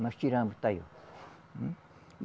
Nós tiramos